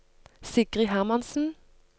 Sigrid Hermansen